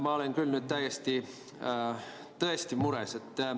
Ma olen nüüd küll tõesti mures.